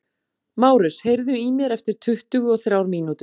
Márus, heyrðu í mér eftir tuttugu og þrjár mínútur.